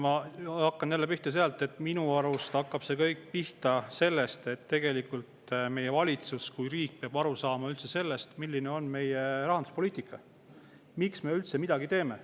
Ma jälle sellest, et minu arust hakkab see kõik pihta sellest, et tegelikult meie valitsus, riik peab aru saama, milline on meie rahanduspoliitika ja miks me üldse midagi teeme.